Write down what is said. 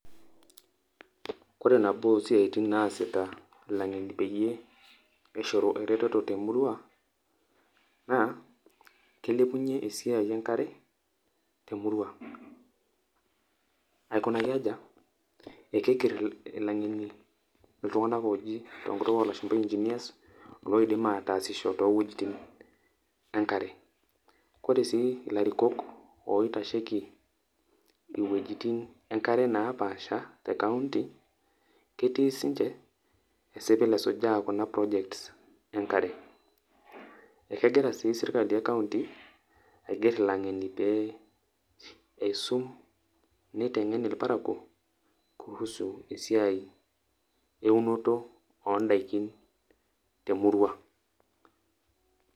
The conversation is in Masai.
Ore nabo osiatin naasita ilangeni peyie pishoru ereteto te murrua naa keilepunyie esiai enkare temurrua. Aikunaki aja? ekeinger ilangeni iltunganak oji tenkutukolashumba enginers loidim ataasisho loidim ataasisho toowuejitin enkare. Ore sii ilarikok oitasheiki iwuejitin enkare naapaasha te county ketii sininche esipilesujaa kuna projects enkare. Ekehira sii sirkali e county aiger ilangeni pee eisum nitengen irparakuo kuhusu esiai eunoto ondaikin te murrua.